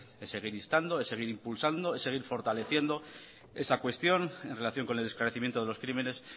es seguir instando es seguir impulsando es seguir fortaleciendo esa cuestión en relación con el esclarecimiento de los crímenes